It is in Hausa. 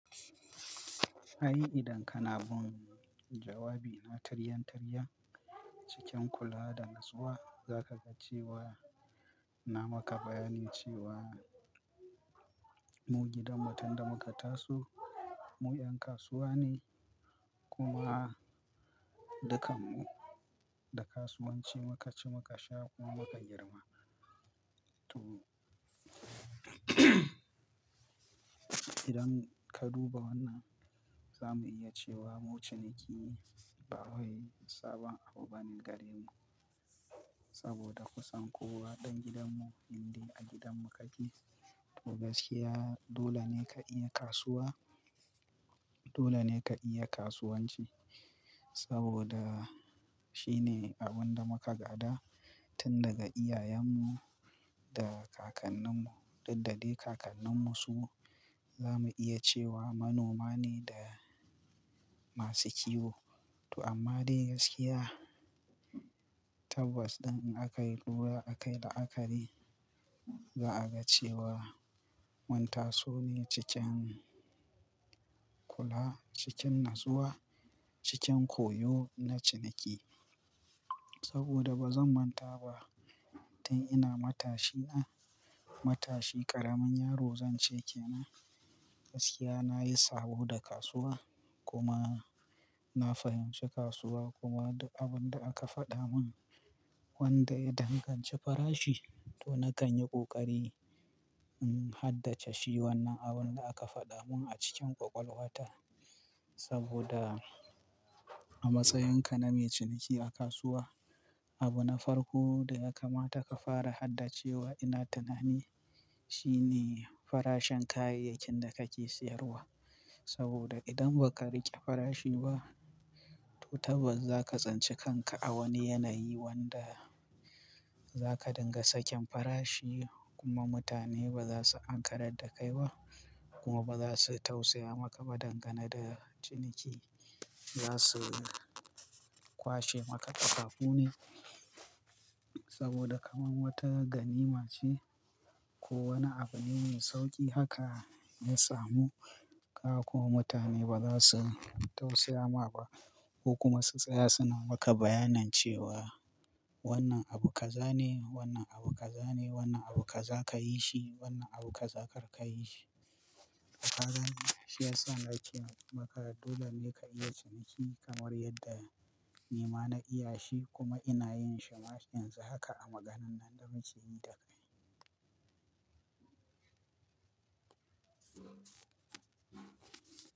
Ai idan kana bin jawabi na taryantaryan, cikin kula da natsuwa, za ka ga cewa, na maka bayanin cewa, mu gidanmu tunda muka taso, mu ƴan kasuwa ne, kuma dukkan mu da kasuwanci muka ci muka sha, kuma muka girma. To idan ka duba wannan, za mu iya cewa mu ciniki ba wai sabon abu bane gare mu saboda kusan kowa ɗan gidanmu indai a gidanmu ka je. To gaskiya dole ne ka iya kasuwa, dole ne ka iya kasuwanci saboda shine abun da muka gada tun daga iyayenmu da kakanninmu. Dukda dai kakanninmu su za mu iya cewa manoma ne da masu kiwo. To amma dai gaskiya, tabbas ɗin in aka yi lura aka yi la'akari, za a ga cewa mun taso ne cikin kula, cikin natsuwa, cikin koyo na ciniki. Saboda ba zan manta ba tun ina matashi na, matashi ƙaramin yaro zan ce ke nan, gaskiya na yi sabo da kasuwa kuma na fahimci kasuwa kuma duk abun da aka faɗa mun wanda ya danganci farashi to na kan yi ƙoƙari in haddace shi wannan abun da aka faɗa mun a cikin ƙwaƙwalwata. Saboda a matsayinka na mai ciniki a kasuwa, abu na farko da ya kamata ka fara haddace wa ina tunani shine farashin kayayyakin da kake siyarwa. Saboda idan ba ka riƙe farashi ba to tabbas za ka tsince kanka a wani yanayi wanda zaka dinga sakin farashi kuma mutane baza su ankarar dakai ba kuma baza su tausaya maka ba dangane da ciniki. Za su kwashe maka takaku ne saboda kamar wata ganima ce ko wani abu ne mai sauƙi haka ya samu ka kuma mutane ba za su tausaya ma ba ko kuma su tsaya suna maka bayanin cewa wannan abu kaza ne, wannan abu kaza ne, wannan abu kaza ka yi shi, wannan abu kaza kar ka yi shi. Ka gane? Shi yasa na ce maka dole ne ka iya ciniki kamar yadda ni ma na iya shi kuma ina yin shi ma yanzu haka a maganan nan da muke yi da kai.